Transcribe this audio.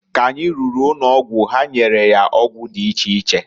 K'anyi ruru n'ụnọgwụ ha nyere ya ọgwụ dị iche iche.